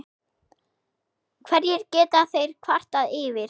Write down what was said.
Hverju geta þeir kvartað yfir?